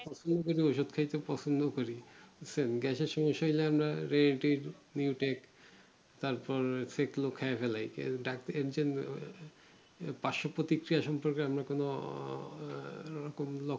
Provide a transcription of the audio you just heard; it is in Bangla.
ওষুধ খাইতে পছুন্দ দেরি তারপর ফেকলু খাইয়াই ফেলেলছে আর জন্য